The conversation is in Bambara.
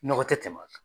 Nɔgɔ tɛ tɛmɛ